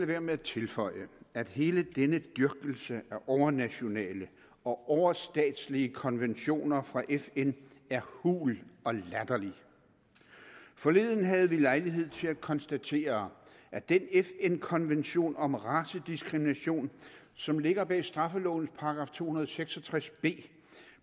være med at tilføje at hele denne dyrkelse af overnationale og overstatslige konventioner fra fn er hul og latterlig forleden havde vi lejlighed til at konstatere at den fn konvention om racediskrimination som ligger bag straffelovens § to hundrede og seks og tres